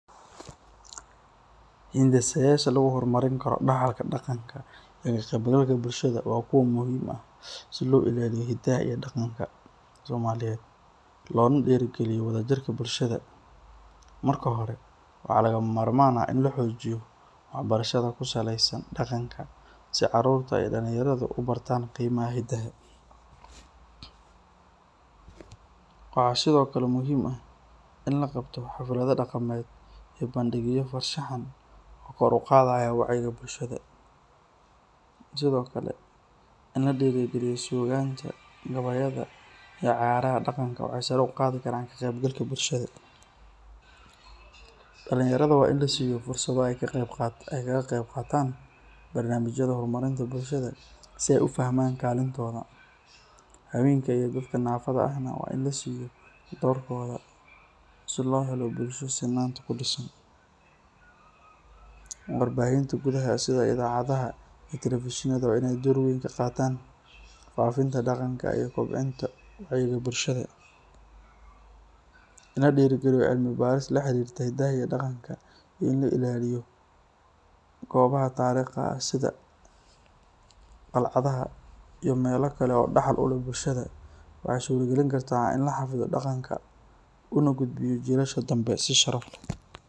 Hindisada lagu hor marin karo waa kuwa muhiim ah, marka hore waa in la xajiyo wax barashada daqanka, waa in laqabto bandigyo lagu diiri galiyo, dalinyarada in la siiyo fursada, habeenka in lasiiyo doorkooda, war bahinta inaay door kaqaatan, in la diiri galiyo cilmi baris iyo la ilaaliyo goobaha tariiqda ah.